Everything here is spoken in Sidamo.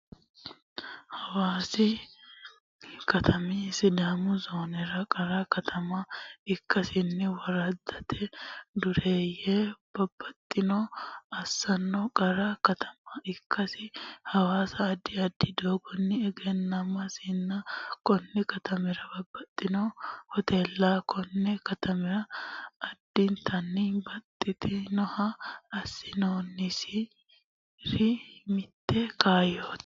Hawaasi katami Sidaamu zoonera qara katama ikkasinni woraddate dureeyye babbaxxitino assanna qara katama ikkasi Hawaasa addi addi doogonni egennamasinna konni katamira babbaxxitino hoteella konne katama addintanni banxanniha assitinnosiri mitte kaayyooti.